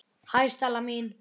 Hæ, Stella mín.